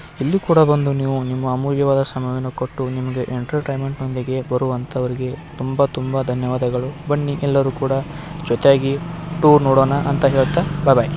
ಇಲ್ಲಿ ಕೂಡ ಬಂದು ನೀವು ನಿಮ್ಮ ಅಮೂಲ್ಯವಾದ ಸಮಯವನ್ನು ಕೊಟ್ಟು ನಿಮಗೇ ಏನಟರಟ್ರೈನ್ಮೆಂಟಯೊಂದಿಗೆ ಬರುಂತರಿಗೆ ತುಂಬಾ ತುಂಬಾ ಧನ್ಯವಾದಗಳು ಬನ್ನಿ ಯೇಲರು ಕೂಡ ಜೊತೆಯಾಗಿ ಟೂರ್ ನೋಡೋಣ ಅಂತ ಹೇಳತ ಬೈ ಬೈ .